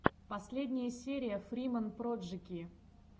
последняя серия фриман проджэки